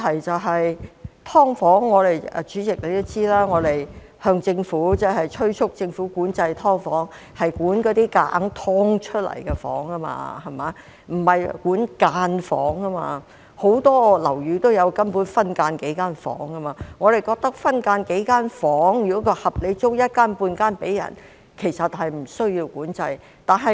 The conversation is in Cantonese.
代理主席，大家都知道我們催促政府管制"劏房"，管的是那些強行"劏"出來的房，而不是板間房，根本很多樓宇也有數間分間房，我們認為如果分間數間房，並合理地把一間半間出租，其實是不需要管制的。